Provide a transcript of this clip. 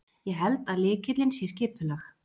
Ég held að lykillinn sé skipulag.